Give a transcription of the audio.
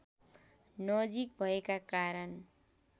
नजिक भएका कारण